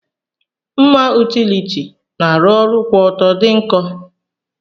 Mma utiliti na arụ kwụọtọ di nkọ.